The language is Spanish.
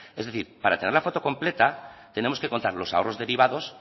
es decir para tener la foto completa tenemos que contar los ahorros derivados